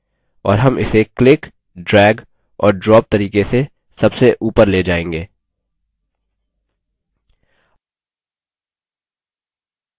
और हम इसे click drag और drop तरीके से सबसे ऊपर ले जाएँगे